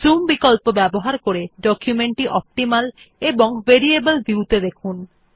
zoom বিকল্প ব্যবহার করে ডকুমেন্ট টি অপ্টিমাল এবং ভেরিয়েবল ভিউ ত়ে দেখুন